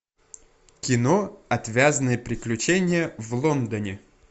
кино отвязные приключения в лондоне